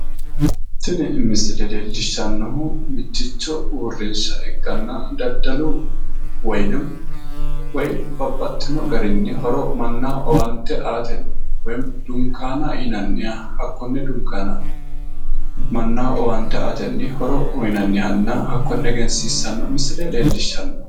tinni misile leellishshannohu mitticho uurinsha ikkana daddalu woyinim babbaxxino garrini horo mannaho owaante aatenni woyimi dinkuana yinanniha hakkonne dinkuana manna owaante aatenni horo uyinanniha hakkonne egensiissanno misile leellishshanno.